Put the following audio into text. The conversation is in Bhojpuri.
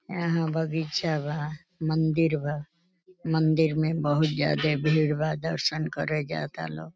एहाँ बगीचा बा मंदिर बा मंदिर में बहुत जादे भीड़ बा दरसन करे जाता लोग।